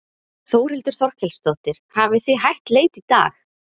Þórhildur Þorkelsdóttir: Hafið þið hætt leit í dag?